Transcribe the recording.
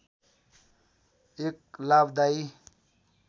एक लाभदायी